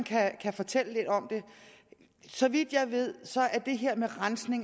fortælle lidt om det så vidt jeg ved